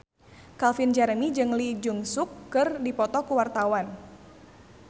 Calvin Jeremy jeung Lee Jeong Suk keur dipoto ku wartawan